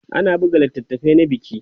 ana buga littafai na biki